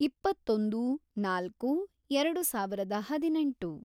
ಇಪ್ಪತ್ತೊಂದು, ನಾಲ್ಕು, ಎರೆಡು ಸಾವಿರದ ಹದಿನೆಂಟು